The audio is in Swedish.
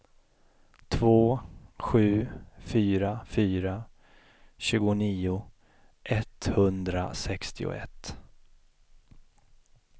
två sju fyra fyra tjugonio etthundrasextioett